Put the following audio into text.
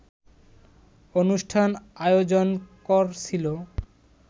অনুষ্ঠান আয়োজন করছিল